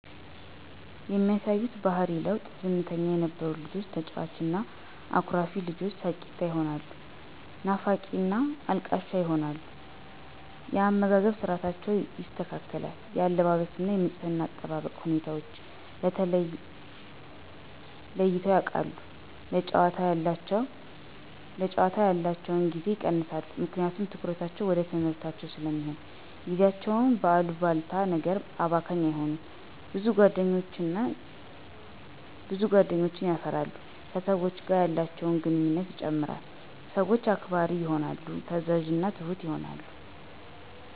የሚያሳዩት የባሕሪ ለዉጥ፦ ዝምተኛ የነበሩ ልጆች ተጫዋች እና አኩራፊ ልጆች ሳቂታ ይሆናሉ ናፋቂና አልቃሻ ይሆናሉ። የአመጋገብ ስርዓታቸው ይስተካከል፣ የአለባበስ እና የንጽሕና አጠባበቅ ሁኔታወችን ለይተዉ ያቃሉ፣ ለጫወታ ያላቸዉን ጊዜ ይቀንሳሉ ምክንያቱም ትኩረታቸዉ ወደ ትምሕርታቸዉ ስለሚሆን፣ ጊዜያቸዉን በአሉባልታ ነገር አባካኝ አይሆኑም፣ ብዙ ጓደኞችን የፈራሉ፣ ከሰወች ጋር ያላቸውን ግንኙነት ይጨምራል፣ ሰወችን አክባሪ ይሆናሉ፣ ታዛዥና ትሁት ይሆናሉ።